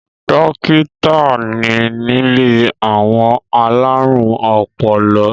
Dó̩kítà ni nílé àwọn alárùn ọpọlọ